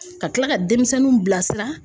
Ka kila ka denmisɛnninw bila sira.